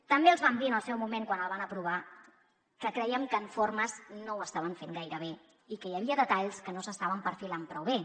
també els vam dir en el seu moment quan el van aprovar que creiem que en formes no ho estaven fent gaire bé i que hi havia detalls que no s’estaven perfilant prou bé